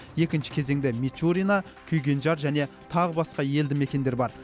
екінші кезеңде мичурина күйгенжар және тағы басқа елді мекендер бар